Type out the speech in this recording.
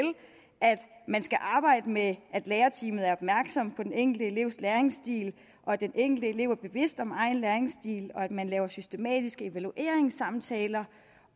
at man skal arbejde med at lærerteamet er opmærksom på den enkelte elevs læringsstil at den enkelte elev er bevidst om egen læringsstil at man laver systematiske evalueringssamtaler